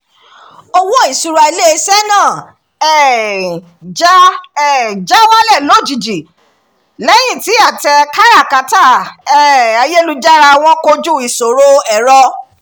owó ìṣúra ilé iṣẹ́ náà um já um já wálẹ̀ lójijì lẹ́yìn tí àtẹ káràkátà um ayélujára wọn kojú ìṣòro ẹ̀rọ